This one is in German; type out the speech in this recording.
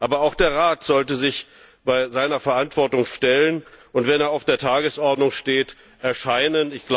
Aber auch der Rat sollte sich seiner Verantwortung stellen und, wenn er auf der Tagesordnung steht, erscheinen.